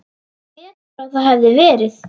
Betur að það hefði verið.